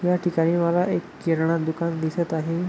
या ठिकाणी मला एक किराणा दुकान दिसत आहे.